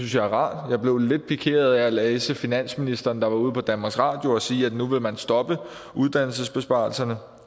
jeg er rart jeg blev lidt pikeret af at læse finansministeren der var ude på danmarks radio sige at nu vil man stoppe uddannelsesbesparelserne